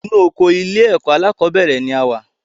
Inu oko ilé ẹ̀kọ́ alákọ̀bẹ́rẹ̀ ni a wa